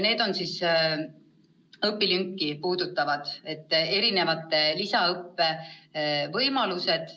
Need on mitmesugused õpilünki puudutavad lisaõppe võimalused.